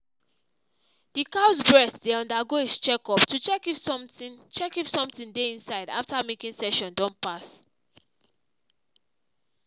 the cow’s breast dey undergo is check up to check if something check if something dey inside after milking session don pass.